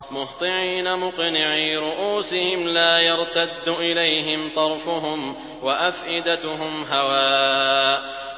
مُهْطِعِينَ مُقْنِعِي رُءُوسِهِمْ لَا يَرْتَدُّ إِلَيْهِمْ طَرْفُهُمْ ۖ وَأَفْئِدَتُهُمْ هَوَاءٌ